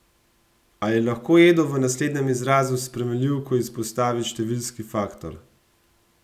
Ali lahko Edo v naslednjem izrazu s spremenljivko izpostavi številski faktor?